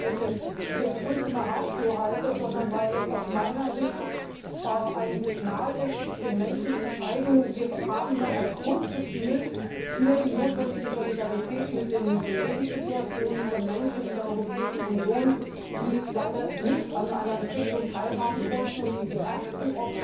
Nicht weil ich es für die Ultima Ratio halte, sondern weil es aus meiner Sicht ein Signal ist, um den Menschen zu zeigen, wir haben noch ein Grundgefühl für die notwendige Solidarität mit den Lebenssituationen von Menschen in der Europäischen Union, die leider nicht an einer Entwicklung teilhaben konnten und die die ersten